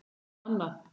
Svo annað.